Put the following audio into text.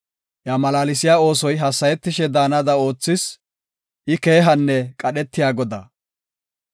Iya malaalsiya oosoy hassayetishe daanada oothis; I keehanne qadhetiya Godaa.